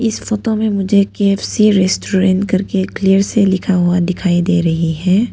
इस फोटो में मुझे के_एफ_सी रेस्टोरेंट करके क्लियर से लिखा हुआ दिखाई दे रही है।